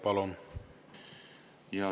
Palun!